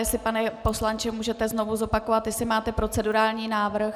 Jestli, pane poslanče, můžete znovu zopakovat, jestli máte procedurální návrh.